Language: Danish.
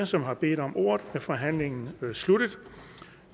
som har bedt om ordet er forhandlingen sluttet